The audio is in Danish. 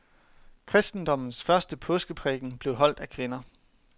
Kristendommens første påskeprædiken blev holdt af kvinder.